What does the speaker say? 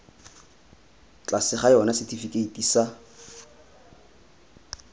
tlase ga yona setifikeiti sa